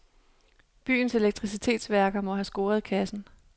Byens elektricitetsværker må have scoret kassen.